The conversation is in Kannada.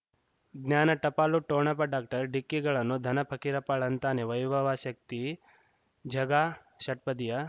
ಜ್ಞಾನ ಟಪಾಲು ಠೊಣಪ ಡಾಕ್ಟರ್ ಢಿಕ್ಕಿ ಗಳನು ಧನ ಫಕೀರಪ್ಪ ಳಂತಾನೆ ವೈಭವ್ ಶಕ್ತಿ ಝಗಾ ಷಟ್ಪದಿಯ